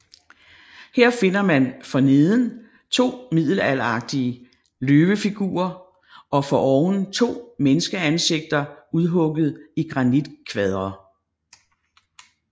Her finder man forneden to middelalderlige løvefigurer og foroven to menneskeansigter udhugget i granitkvadre